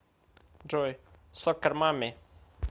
джой соккер мамми